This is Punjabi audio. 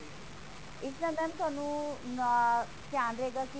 ਇਸ ਨਾਲ mam ਤੁਹਾਨੂੰ ਧਿਆਨ ਰਹੇਗਾ ਕੀ